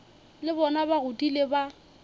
le bona ba godile ba